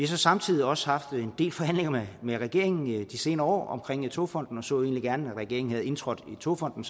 så samtidig også haft en del forhandlinger med regeringen i de senere år om togfonden så egentlig gerne at regeringen var indtrådt i togfonden